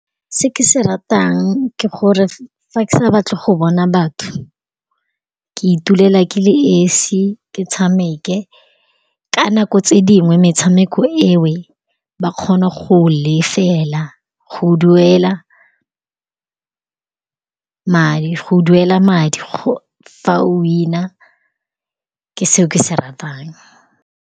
Se ke se ratang ke gore fa ke sa batle go bona batho, ke itulela ke le esi, ke tshameke. Ka nako tse dingwe metshameko eo ba kgona go lefela go duela madi fa o wina, ke seo ke se ratang.